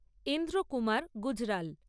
Indra Kumar Gujral